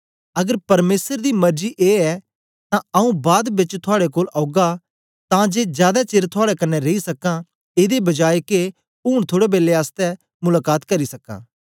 अगर परमेसर दी मर्जी ऐ तां आऊँ बाद बेच थुआड़े कोल औगा तां जे जादै चेर थुआड़े कन्ने रेई सकां एदे बजाए के ऊन थुड़े बेलै आसतै मुलाका त करी सकां